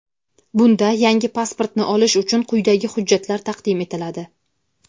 Bunda yangi pasportni olish uchun quyidagi hujjatlar taqdim etiladi:.